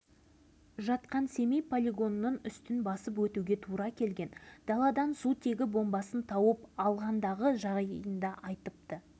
неліктен осындай ой азабымен жүргенімде таяуда ғалым газетінен сутегі бомбасы ізделуде деген қысқа мақалаға көзім